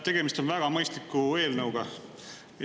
Tegemist on väga mõistliku eelnõuga.